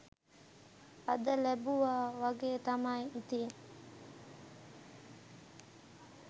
අද ලැබුවා වගේ තමයි ඉතින්